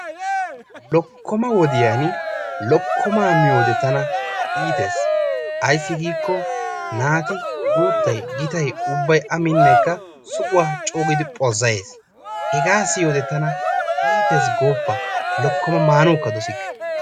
Lokkoma wodiya lokkomaa miyode tana iittees. Ayssi giikko naati guuttay gitay ubbay a minekka suquwa coo giidi phozzayees. Hegaa siyode tana iittees gooppa lokkomaa maanawukka dossike.